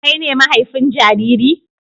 Kai ne mahaifin jariri?